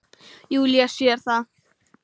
Júlía sér það.